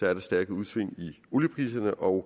er der stærke udsving i oliepriserne og